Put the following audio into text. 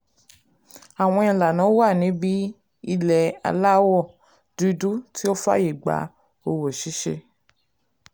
àwọn ìlànà wà níbi ilé aláwọ̀ dúdú tí ó fàyè gba òwò ṣíṣe.